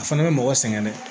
A fana bɛ mɔgɔ sɛgɛn dɛ